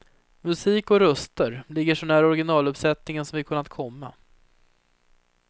Musik och röster ligger så nära originaluppsättningen som vi kunnat komma.